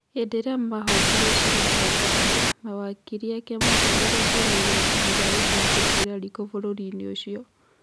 Hĩndĩ ĩrĩa mahotirwo cira nahau kabere, mawakiri ake matwarire cira igoti-inĩ rĩa gũcokia cira riko bũrũri-inĩ ũcio.